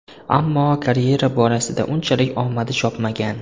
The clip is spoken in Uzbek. Ammo karyera borasida unchalik omadi chopmagan.